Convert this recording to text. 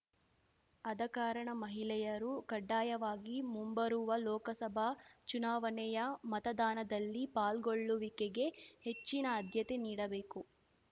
ಆದ ಕಾರಣ ಮಹಿಳೆಯರು ಕಡ್ಡಾಯವಾಗಿ ಮುಂಬರುವ ಲೋಕಸಭಾ ಚುನಾವಣೆಯ ಮತದಾನದಲ್ಲಿ ಪಾಲ್ಗೊಳ್ಳುವಿಕೆಗೆ ಹೆಚ್ಚಿನ ಆದ್ಯತೆ ನೀಡಬೇಕು